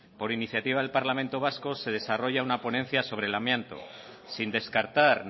por iniciativa del parlamento vasco se desarrolla una ponencia sobre el amianto sin descartar